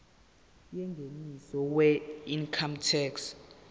yengeniso weincome tax